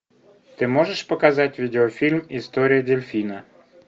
ты можешь показать видеофильм история дельфина